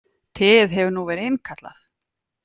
Teið hefur nú verið innkallað